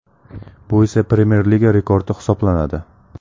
Bu esa Premyer Liga rekordi hisoblanadi.